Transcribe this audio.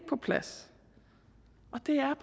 på plads